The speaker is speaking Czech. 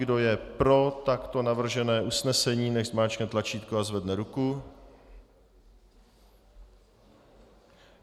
Kdo je pro takto navržené usnesení, nechť zmáčkne tlačítko a zvedne ruku.